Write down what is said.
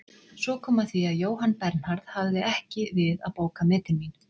Svo kom að því að Jóhann Bernharð hafði ekki við að bóka metin mín.